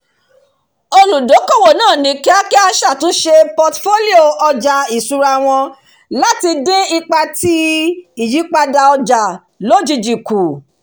olùdókòwò náà ni kíákíá ṣàtúnṣe portfolio ọjà iṣúra wọn láti dín ipa tí ìyípadà ọjà lojijì kù